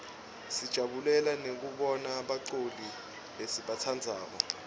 sijabulela nekubona baculi lesibatsandzako